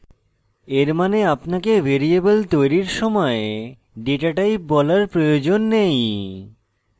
এর means আপনাকে variable তৈরির সময় ডেটাটাইপ বলার প্রয়োজন নেই